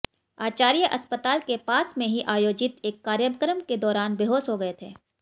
आचार्य अस्पताल के पास में ही आयोजित एक कार्यक्रम के दौरान बेहोश हो गए थे